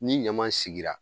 Ni ɲama sigira